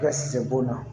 Ka shɛbon